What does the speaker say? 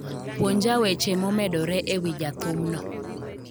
Puonja weche momedore e wi jathumno.